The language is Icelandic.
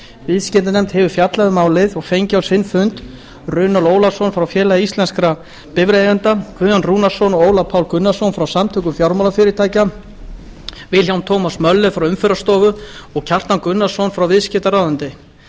viðskiptanefnd hefur fjallað um málið og fengið á sinn fund runólf ólafsson frá félagi íslenskra bifreiðaeigenda guðjón rúnarsson og ólaf pál gunnarsson frá samtökum fjármálafyrirtækja william thomas möller frá umferðarstofu og kjartan gunnarsson frá viðskiptaráðuneyti